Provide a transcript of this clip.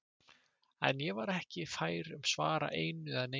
En ég var ekki fær um að svara einu eða neinu.